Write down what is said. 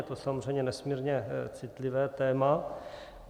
Je to samozřejmě nesmírně citlivé téma.